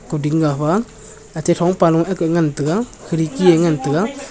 kawding ga huae ate thongpa low aaga ngan tega khirki a ngan tega.